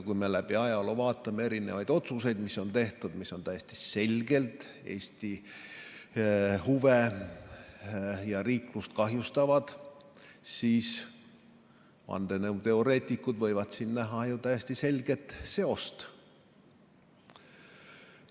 Kui me läbi ajaloo vaatame otsuseid, mis on tehtud ning mis on täiesti selgelt Eesti huve ja riiklust kahjustavad, siis vandenõuteoreetikud võivad siin näha täiesti selget seost.